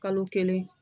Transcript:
Kalo kelen